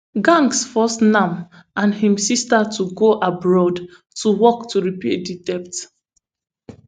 gnangs force nam and im sister to go abroad to work to repay di debt